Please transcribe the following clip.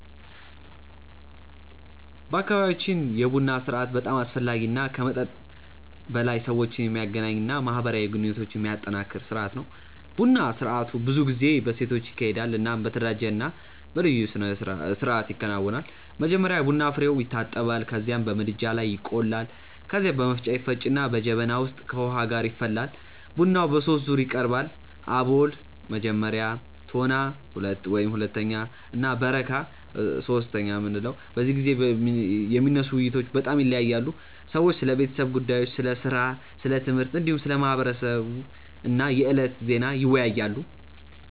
በአካባቢያችን የቡና ስርአት በጣም አስፈላጊ እና ከመጠጥ በላይ ሰዎችን የሚያገናኝ እና ማህበራዊ ግንኙነትን የሚያጠናክር ስርአት ነው። ቡና ስርአቱ ብዙ ጊዜ በሴቶች ይካሄዳል እናም በተደራጀ እና በልዩ ስርአት ይከናወናል። መጀመሪያ የቡና ፍሬዉ ይታጠባል ከዚያም በምድጃ ላይ ይቆላል። ከዚያ በመፍጫ ይፈጭና በጀበና ውስጥ ከውሃ ጋር ይፈላል። ቡናው በሶስት ዙር ይቀርባል፤ አቦል (መጀመሪያ)፣ ቶና (ሁለተኛ) እና በረካ (ሶስተኛ)። በዚህ ጊዜ የሚነሱ ውይይቶች በጣም ይለያያሉ። ሰዎች ስለ ቤተሰብ ጉዳዮች፣ ስለ ሥራ፣ ስለ ትምህርት፣ እንዲሁም ስለ ማህበረሰብ እና የዕለቱ ዜና ይወያያሉ።